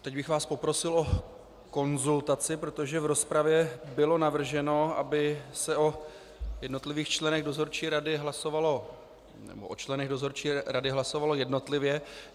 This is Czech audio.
Teď bych vás poprosil o konzultaci, protože v rozpravě bylo navrženo, aby se o jednotlivých členech dozorčí rady hlasovalo jednotlivě.